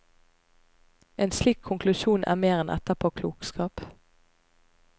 En slik konklusjon er mer enn etterpåklokskap.